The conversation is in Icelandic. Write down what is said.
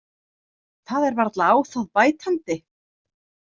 Það er varla á bætandi.